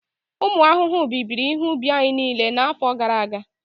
ụmụ ahụhụ bibiri ihe ubi anyị niile n'afọ gara aga